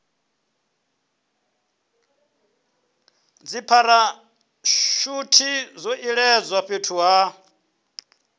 dzipharashuthi zwo iledzwa fhethu ha